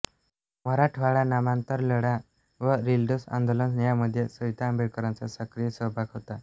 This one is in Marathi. मराठवाडा नामांतर लढा व रिडल्स आंदोलन यांमध्ये सविता आंबेडकरांचा सक्रिय सहभाग होता होता